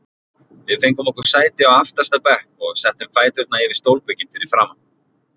Við fengum okkur sæti á aftasta bekk og settum fæturna yfir stólbökin fyrir framan.